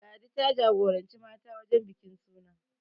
Ladi ta jagoranci mata wajen bikin suna